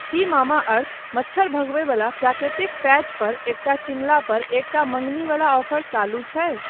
की Mamaearth मच्छर भगबयवला प्राकृतिक पैचपर एकटा किनलापर एकटा मङ्गनीबला ऑफर चालू छै?